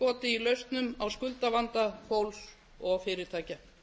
í lausnum á skuldavanda fólks og fyrirtækja